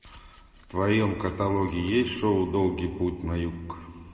в твоем каталоге есть шоу долгий путь на юг